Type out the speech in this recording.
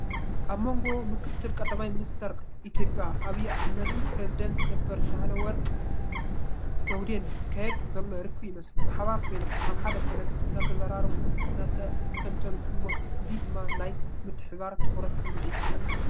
ኣብ መንጎ ምክ/ቀዳማይ ሚኒስትር ኢትዮጵያ ኣብይ ኣሕመድን ፕረዚደንት ነበር ሳህለወርቅ ዘውዴን ዝካየድ ዘሎ ርክብ ይመስል። ብሓባር ኮይኖም ኣብ ሓደ ሰነድ እናተዘራረቡን እናኣስተንትኑን ይመስሉ። እዚ ድማ ናይ ምትሕብባርን ትኹረትን ስምዒት ይፈጥር።